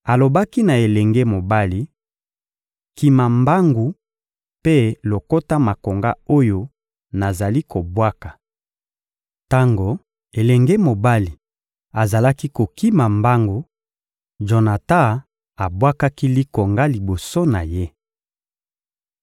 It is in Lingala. Alobaki na elenge mobali: «Kima mbangu mpe lokota makonga oyo nazali kobwaka.» Tango elenge mobali azalaki kokima mbangu, Jonatan abwakaki likonga liboso na ye.